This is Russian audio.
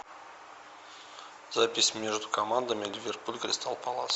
запись между командами ливерпуль кристал пэлас